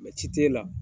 ci t'e la